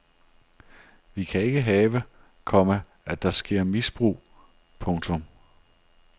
Vi kan ikke have, komma at der sker misbrug. punktum